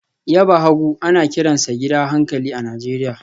Yaba hagu ana kiransa gidan hankali a Najeriya